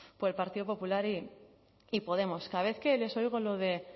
por el partido popular y podemos cada vez que les oigo lo de